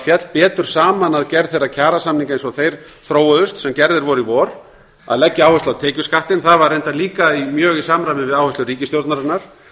féll betur saman að gerð þeirra kjarasamninga eins og þeir þróuðust sem gerðir voru í vor að leggja áherslu á tekjuskattinn það var reyndar líka mjög í samræmi við áherslur ríkisstjórnarinnar